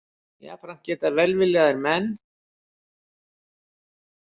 Jafnframt geta velviljaðir menn.